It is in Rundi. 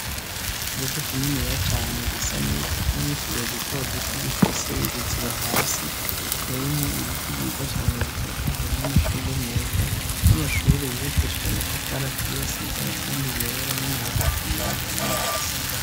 ikibuga kinini ya cane gisa neza kirimwo utubuye duto dutu gifise ibiziba hasi hateyemo ibiti byiza cane bitotahaye n'amashurwe meza n'amashuri yibakishije amatafari aturiye asize amarangi yera n'amabati yirabura n' mubati asa nagahama.